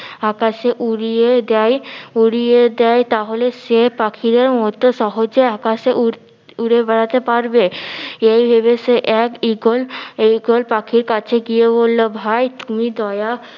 আকাশে উড়িয়ে দেয় উড়িয়ে দেয় তাহলে সে পাখিদের মতো সহজে আকাশে উড়তে উড়ে বেড়াতে পারবে এই ভেবে সে এক ঈগল ঈগল পাখির কাছে গিয়ে বললো ভাই তুমি দয়া